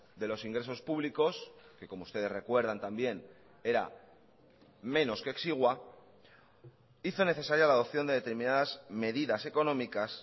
de los ingresos públicos que como ustedes recuerdan también era menos que exigua hizo necesaria la adopción de determinadas medidas económicas